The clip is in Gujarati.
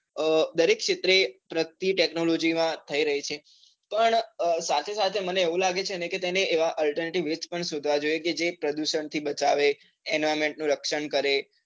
અ દરેક ક્ષેત્રે પ્રગતિ technology માં થઈ રહી છે પણ સાથે સાથે મને એવું લાગે છે તેને alternative use પણ શોધવા જોઈએ કે જે પ્રદુષણ થી બચાવે, environment નું રક્ષણ કરે